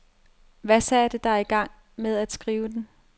Hvad satte dig i gang med at skrive den?